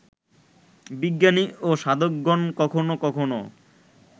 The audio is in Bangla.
বিজ্ঞানী ও সাধকগণ কখনও কখনও